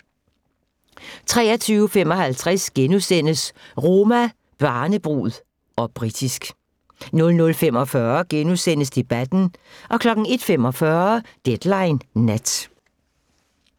23:55: Roma, barnebrud - og britisk * 00:45: Debatten * 01:45: Deadline Nat